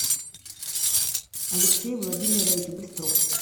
алексей владимирович быстров